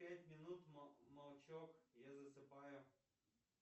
пять минут молчок я засыпаю